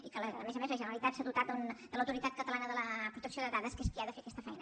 i que a més a més la generalitat s’ha dotat de l’autoritat catalana de la protecció de dades que és qui ha de fer aquesta feina